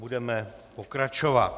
Budeme pokračovat.